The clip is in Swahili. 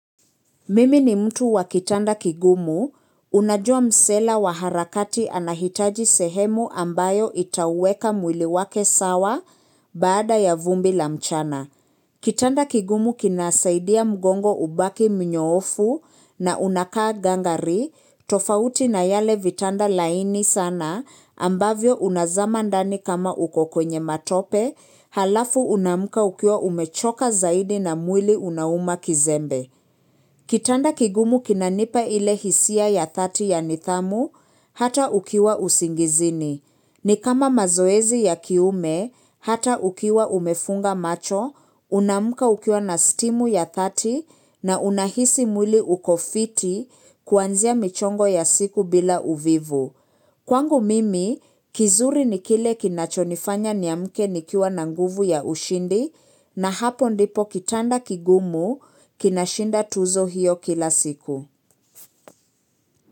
Mimi ni mtu wa kitanda kigumu, unajua msela wa harakati anahitaji sehemu ambayo itaweka mwili wake sawa baada ya vumbi la mchana. Kitanda kigumu kinasaidia mgongo ubaki mnyoofu na unakaa gangari, tofauti na yale vitanda laini sana ambavyo unazama ndani kama uko kwenye matope, halafu unaamka ukiwa umechoka zaidi na mwili unauma kizembe. Kitanda kigumu kinanipa ile hisia ya dhati ya nithamu, hata ukiwa usingizini. Ni kama mazoezi ya kiume, hata ukiwa umefunga macho, unaamka ukiwa na stimu ya dhati na unahisi mwili uko fiti kuanzia michongo ya siku bila uvivu. Kwangu mimi, kizuri ni kile kinachonifanya niamke nikiwa nanguvu ya ushindi na hapo ndipo kitanda kigumu kinashinda tuzo hiyo kila siku.